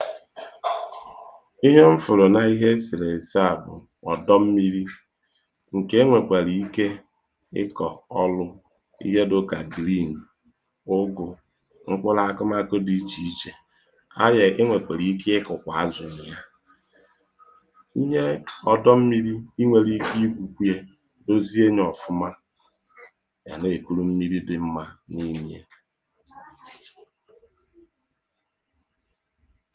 Ihe m fụrụ na ihe eserese a bụ̀ ọdọ mmiri nke e nwekwara ike ịkọ̀ ọlụ̀ ihe dịka green ụgụ mkpụlụ agụmagụ dị iche iche aye i nwekwara ike ịkụ azụ na yà ihe ọdọ mmiri i nwere ike ikwukwuye huzieni ọfụma a na-ekuru mmiri dị mmà na-enye à